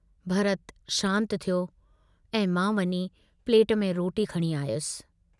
भरत शांत थियो ऐं मां वञी प्लेट में रोटी खणी आयुसि।